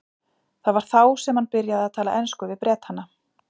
Það var þá sem hann byrjaði að tala ensku við Bretana.